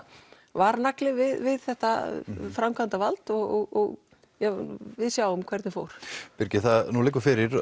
varnagli við þetta framkvæmdarvald og við sjáum hvernig fór birgir nú liggur fyrir